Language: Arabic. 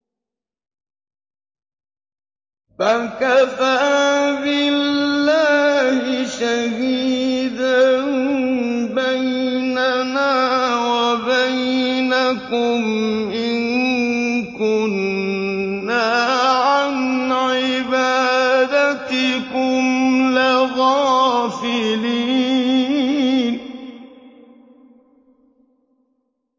فَكَفَىٰ بِاللَّهِ شَهِيدًا بَيْنَنَا وَبَيْنَكُمْ إِن كُنَّا عَنْ عِبَادَتِكُمْ لَغَافِلِينَ